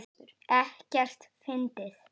Ekkert fyndið!